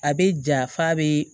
A bɛ ja f'a bɛ